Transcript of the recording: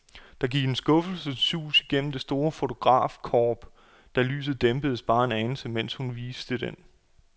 Der gik et skuffelsens sus gennem det store fotografkorp, da lyset dæmpedes bare en anelse, mens hun viste den.